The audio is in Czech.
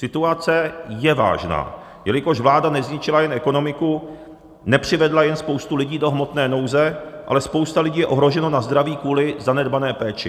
Situace je vážná, jelikož vláda nezničila jen ekonomiku, nepřivedla jen spoustu lidí do hmotné nouze, ale spousta lidí je ohrožena na zdraví kvůli zanedbané péči.